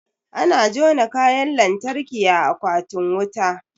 Ana jona Kayan lantarki a akwatin wuta